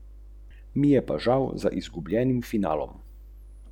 A načeloma privatizacijo podpira.